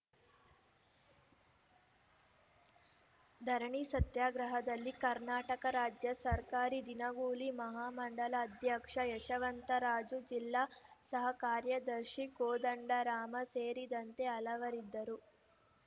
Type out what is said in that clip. ಧರಣಿ ಸತ್ಯಗ್ರಹದಲ್ಲಿ ಕರ್ನಾಟಕ ರಾಜ್ಯ ಸರ್ಕಾರಿ ದಿನಗೂಲಿ ಮಹಾಮಂಡಲ ಅಧ್ಯಕ್ಷ ಯಶವಂತರಾಜು ಜಿಲ್ಲಾ ಸಹ ಕಾರ್ಯದರ್ಶಿ ಕೋದಂಡರಾಮ ಸೇರಿದಂತೆ ಹಲವರಿದ್ದರು